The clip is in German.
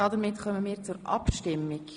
Somit kommen wir zur Abstimmung.